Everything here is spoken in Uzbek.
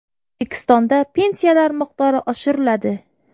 O‘zbekistonda pensiyalar miqdori oshiriladi.